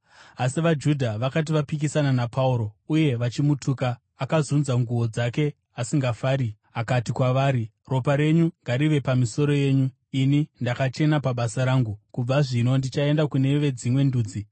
Asi vaJudha vakati vapikisana naPauro uye vachimutuka, akazunza nguo dzake asingafari akati kwavari, “Ropa renyu ngarive pamisoro yenyu! Ini ndakachena pabasa rangu. Kubva zvino ndichaenda kune veDzimwe Ndudzi.”